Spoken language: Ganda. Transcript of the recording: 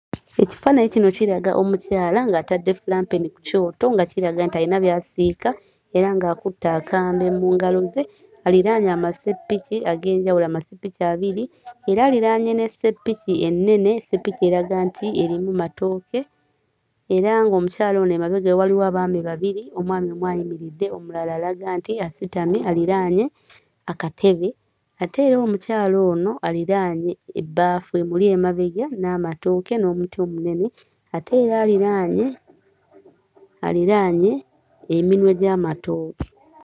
Ekifaananyi kino kiraga omukyala ng'atadde fulampeni ku kyoto nga kiraga nti ayina by'asiika era ng'akutte akambe mu ngalo ze aliraanye amasepiki ag'enjawulo, amasepiki abiri era aliraanye n'essepiki ennene, essepiki eraga nti erimu matooke era ng'omukyala ono emabega we waliwo abaami babiri, omwami omu ayimiridde omulala alaga nti asitamye aliraanye akatebe ate era omukyala ono aliraanye ebbaafu emuli emabega n'amatooke n'omuti omunene ate era aliraanye aliraanye eminwe gy'amatooke.